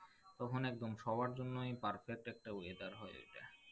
তখন একদম সবার জন্যই perfect একটা weather হয়ে যাই